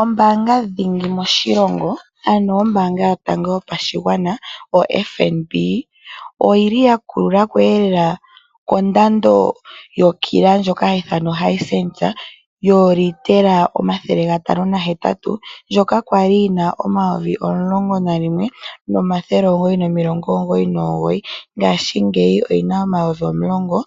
Ombaanga ndhingi moshilongo, ombaanga yotango yopashigwana oFNB. Oyi li ya kulula ko lela kondando yokila ndjoka hayi ithanwa ohisensa yoolitela omathathele gatano nahetatu. Okwali yina omayovi omulongonalimwe nomathele omugoyi nomilongo ngoyi nongoyi, ngaashi ngeyi oyi na omayovi omulongo